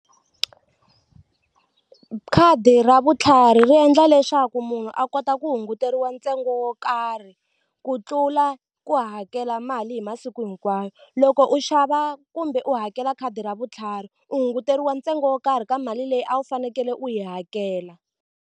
Khadi ra vutlhari ri endla leswaku munhu a kota ku hunguteriwa ntsengo wo karhi ku tlula ku hakela mali hi masiku hinkwawo loko u xava kumbe u hakela khadi ra vutlhari u hunguteriwe ntsengo wo karhi ka mali leyi a wu fanekele u yi hakela.